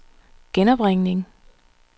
genopringning